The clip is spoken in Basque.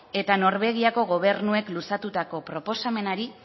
eta norvegiako gobernuek luzatutako proposamenari